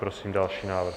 Prosím další návrh.